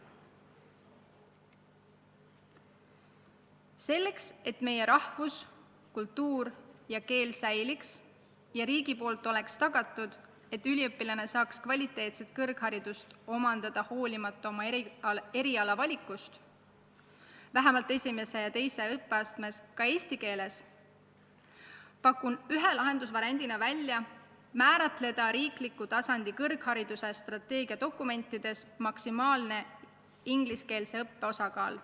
Selleks, et meie rahvus, kultuur ja keel säiliks ning riik tagaks, et üliõpilane saab kvaliteetse kõrghariduse omandada hoolimata oma eriala valikust vähemalt esimeses ja teises õppeastmes ka eesti keeles, pakun ühe lahendusvariandina välja määratleda riikliku tasandi kõrghariduse strateegiadokumentides maksimaalne ingliskeelse õppe osakaal.